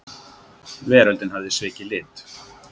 Veröldin hafði svikið lit.